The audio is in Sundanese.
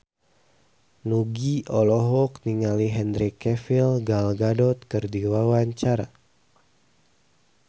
Nugie olohok ningali Henry Cavill Gal Gadot keur diwawancara